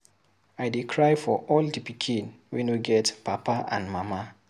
I dey cry for all the pikin wey no get papa and mama.